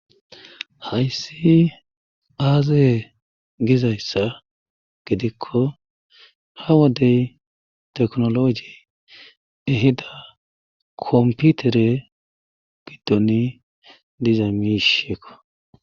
Hayssi aazee giza issa giddikko ha wodey teknologi ehida komputere giddoni diza misheekko.